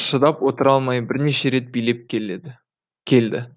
шыдап отыра алмай бірнеше рет билеп келеді келді